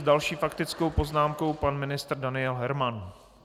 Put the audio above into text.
S další faktickou poznámkou pan ministr Daniel Herman.